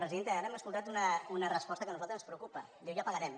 presidenta ara hem escoltat una resposta que a nosaltres ens preocupa diu ja pagarem